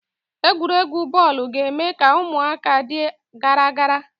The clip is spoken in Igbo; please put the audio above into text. Egwuregwu bọọlụ ga- eme ka ụmụaka dị gara gara.